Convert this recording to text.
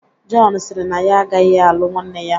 Jọn sịrị na ya agaghị alụ nwanne ya